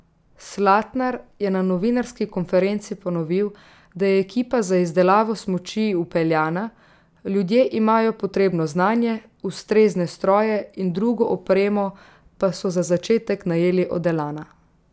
Slatnar je na novinarski konferenci ponovil, da je ekipa za izdelavo smuči vpeljana, ljudje imajo potrebno znanje, ustrezne stroje in drugo opremo pa so za začetek najeli od Elana.